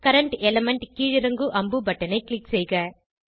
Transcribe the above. current element கீழிறங்கு அம்பு பட்டனை க்ளிக் செய்க